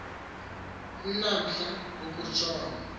n umhla wokutshona